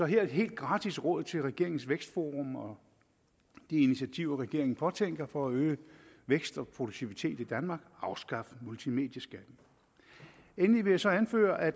her et helt gratis råd til regeringens vækstforum og de initiativer regeringen påtænker for at øge vækst og produktivitet i danmark afskaf multimedieskatten endelig vil jeg så anføre at